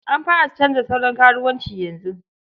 An fara canza salon karuwanci yanzu.